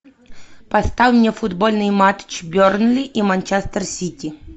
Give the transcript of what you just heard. поставь мне футбольный матч бернли и манчестер сити